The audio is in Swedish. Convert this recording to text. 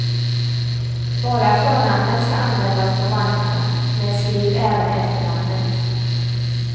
Bara förnamnet ska användas på vagnarna, men skriv även efternamnet.